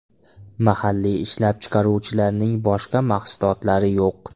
Mahalliy ishlab chiqaruvchilarning boshqa mahsulotlari yo‘q.